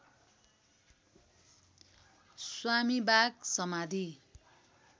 स्वामीबाग समाधि